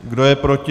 Kdo je proti?